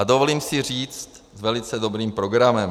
A dovolím si říct s velice dobrým programem.